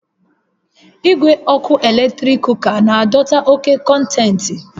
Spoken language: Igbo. Igwe ọkụ eletrik kuka na-adọta oke kọntentị